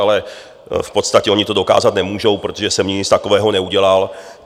Ale v podstatě oni to dokázat nemůžou, protože jsem nic takového neudělal.